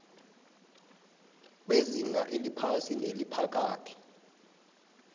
wezinga eliphasi neliphakathi